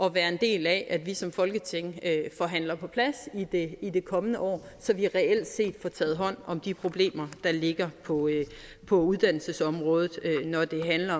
at være en del af at vi som folketing forhandler på plads i det kommende år så vi reelt set får taget hånd om de problemer der ligger på på uddannelsesområdet når det handler